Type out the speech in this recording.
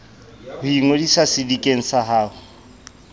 ho ingodisa sedikeng sa ho